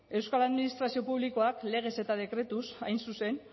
euskal administrazio publikoak legez eta dekretuz hain zuzen